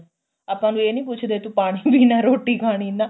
ਆਪਾਂ ਉਹਨੂੰ ਇਹ ਨੀ ਪੁੱਛਦੇ ਤੂੰ ਪਾਣੀ ਪੀਣਾ ਰੋਟੀ ਖਾਣੀ ਨਾ